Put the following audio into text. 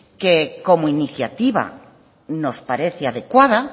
que como iniciativa nos parece adecuada